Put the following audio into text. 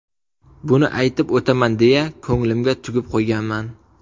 Buni aytib o‘taman deya ko‘nglimga tugib qo‘yganman.